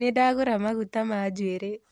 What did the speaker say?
Nĩndagũra maguta ma njuĩrĩ